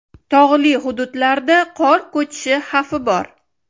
Tog‘li hududlarda qor ko‘chishi xavfi bor.